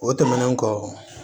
O tɛmɛnen kɔ